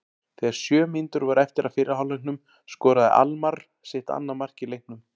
Þegar sjö mínútur voru eftir af fyrri hálfleiknum skoraði Almarr sitt annað mark í leiknum.